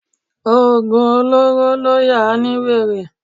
Oògùn olóró ló yà á ní wèrè